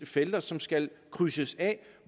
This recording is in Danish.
felter som skal krydses af